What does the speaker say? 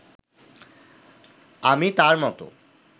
আমি তাঁর মতো